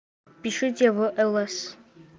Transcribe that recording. пишите в лс